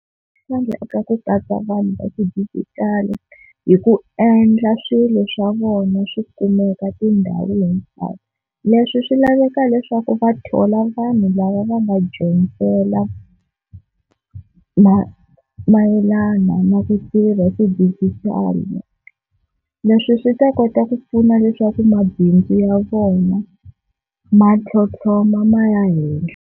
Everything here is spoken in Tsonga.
swa ku katsa vanhu va xidigitali hi ku endla swilo swa vona swi kumeka tindhawu letiwani, leswi swi laveka leswaku va thola vanhu lava va va nga dyondzela ma mayelana na ku tirha xidijitali. Leswi swi ta kota ku pfuna leswaku mabindzu ya vona ma tlhotlhoma ma ya hehla.